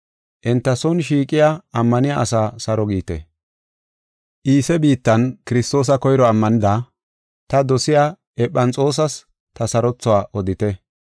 Enta son shiiqiya ammaniya asaa saro giite. Iise biittan Kiristoosa koyro ammanida, ta dosiya Ephanexoosas ta sarothuwa odite.